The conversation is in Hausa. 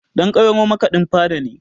Ɗan ƙwairo makaɗin fada ne